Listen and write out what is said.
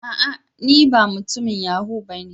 A'a! ne ba mutumin yahoo ba.